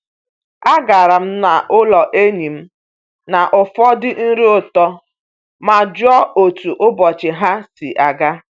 Agara m n'ụlọ enyi m na ụfọdụ nri ụtọ ma jụọ otu ụbọchị ha si aga.